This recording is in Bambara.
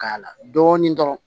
Ka y'a la dɔɔnin dɔrɔn